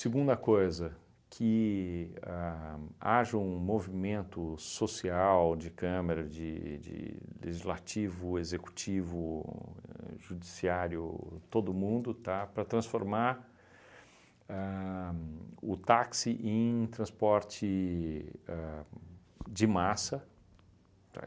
Segunda coisa, que ahn haja um movimento social de câmara, de de legislativo, executivo, judiciário, todo mundo, tá, para transformar ahn o táxi em transporte de ahn massa, tá?